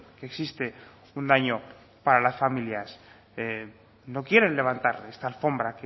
que existe un daño para las familias no quieren levantar esa alfombra